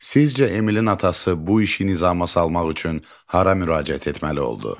Sizcə Emilin atası bu işin nizama salmaq üçün hara müraciət etməli oldu?